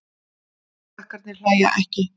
Krakkarnir hlæja ekki.